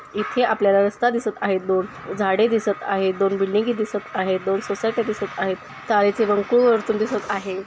येथे आपल्याला रस्ता दिसत आहेत. दोन झाडे दिसत आहेत दोन बिल्डिंग ही दिसत आहेत. दोन सोसायटी दिसत आहेत. तार्‍याचे भरपूर अडचण दिसत आहे.